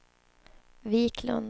Viklund